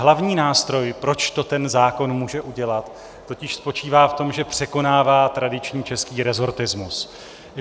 Hlavní nástroj, proč to ten zákon může udělat, totiž spočívá v tom, že překonává tradiční český resortismus.